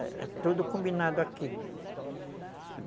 É tudo combinado aqui.